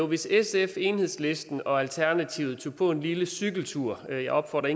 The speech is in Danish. hvis sf enhedslisten og alternativet tog på en lille cykeltur jeg opfordrer